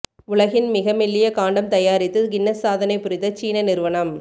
உலகின் மிக மெல்லிய காண்டம் தயாரித்து கின்னஸ் சாதனை புரிந்த சீன நிறுவனம்